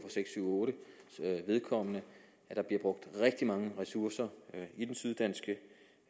otte at der bliver brugt rigtig mange ressourcer